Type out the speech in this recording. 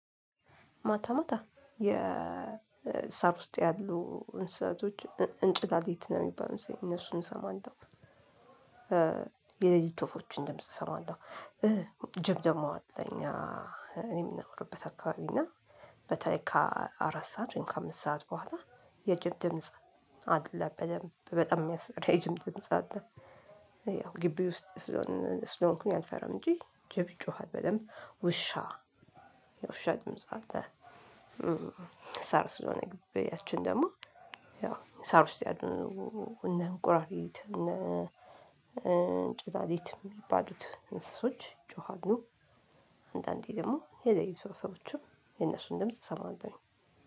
ማታ ማታ የሳር ውስጥ ያሉ እንስሳቶች እንጭላልት ነው የሚባል እነሱን እሰማለሁ የሌሊት ወፎችን ድምጽ እሰማለሁ። ጅብ ደግሞ አለ እኛ። እኔም የምናወራበት አካባቢ እና በተለይ ካ አራት ሰዓት ካ አምስት ሰዓት በኋላ የጅብ ድምጽ አለ በደንብ በጣም የሚያስፈራ የጅብ ድምጽ አለ። ያው ግቢ ውስጥ ስለሆንኩኝ አልፈራም እንጂ ጅብ ይጮሃል በደንብ ውሻ ውሻ ድምጽ አለ። ሳር ሰለሆነ ግቢያችን ደሞ ያው ሳር ውስጥ ያሉ እነ እንቁራርት እነ እንጭላልት የሚባሉ እንስሳቶች ይጮሃሉ። አንዳዴ ደሞ የሌሊት ወፍችም የነሱ ድምጽ እሰማለሁ።